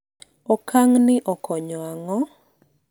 okang' ni okonyo ang'o?